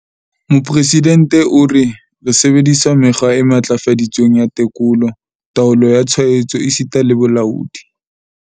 Mopresidente o re, re sebedisa mekgwa e matlafaditsweng ya tekolo, taolo ya tshwaetso esita le bolaodi.